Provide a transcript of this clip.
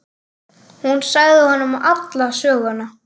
Hún sagði honum alla söguna.